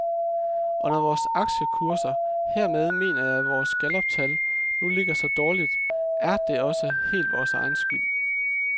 Og når vores aktiekurser, hermed mener jeg vores galluptal, nu ligger så dårligt, er det også helt vores egen skyld.